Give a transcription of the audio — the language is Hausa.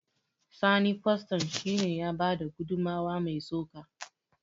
Sani kwastan shi ne ya bada gudummawa mai tsoka